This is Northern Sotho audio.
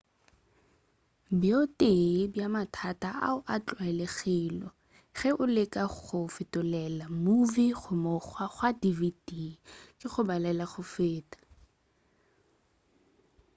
bjo tee bja mathata ao a tlwaelegilego ge o leka go fetolela movie go mokgwa wa dvd ke go balela go feta